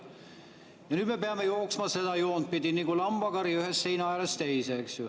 Ja nüüd me peame jooksma seda joont pidi nagu lambakari ühe seina äärest teise, eks ju.